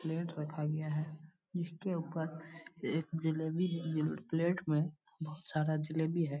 Plate रखा गया है जिसके उपर एक जलेबी जेल है प्लेट में बहुत सारा जलेबी है।